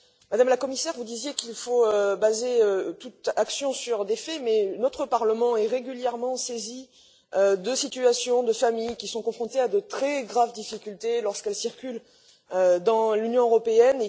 Madame la Commissaire, vous disiez qu'il faut fonder toute action sur des faits, mais notre Parlement est régulièrement saisi de situations de familles qui sont confrontées à de très graves difficultés lorsqu'elles circulent dans l'Union européenne.